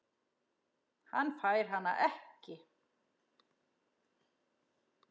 Hann fær hana ekki.